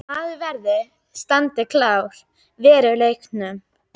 Maður verður að standa klár á veruleikanum.